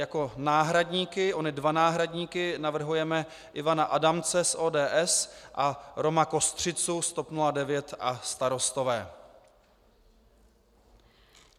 Jako náhradníky, ony dva náhradníky, navrhujeme Ivana Adamce z ODS a Roma Kostřicu z TOP 09 a Starostové.